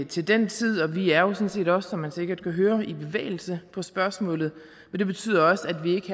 til den tid og vi er jo sådan set også som man sikkert kan høre i bevægelse på spørgsmålet men det betyder også at vi ikke